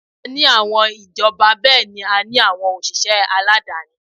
A ní àwọn ìjọba bẹ́ẹ̀ ni a ní òṣìṣẹ́ aládááni